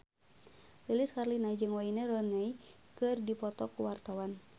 Lilis Karlina jeung Wayne Rooney keur dipoto ku wartawan